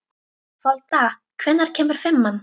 Folda, hvenær kemur fimman?